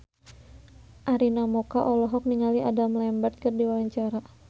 Arina Mocca olohok ningali Adam Lambert keur diwawancara